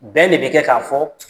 Bɛn de be kɛ k'a fɔ